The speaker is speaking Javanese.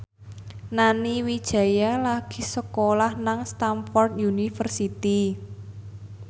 Nani Wijaya lagi sekolah nang Stamford University